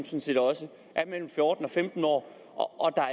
set også er mellem fjorten og femten år og